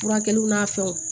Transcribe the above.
Furakɛliw n'a fɛnw